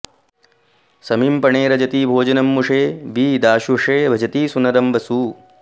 समीं पणेरजति भोजनं मुषे वि दाशुषे भजति सूनरं वसु